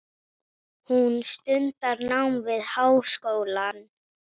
Hún stundar nám við háskólann.